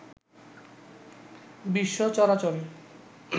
বিশ্ব চরাচরে